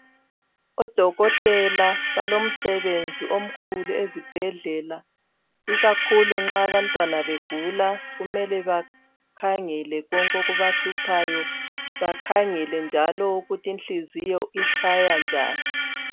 ODokotela balomsebenzi omkhulu ezibhedlela ikakhulu nxa abantwana begula kumele bakhangele konke okubahluphayo bakhangele njalo ukuthi inhliziyo itshaya njani.